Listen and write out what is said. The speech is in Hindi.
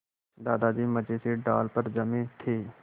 दादाजी मज़े से डाल पर जमे थे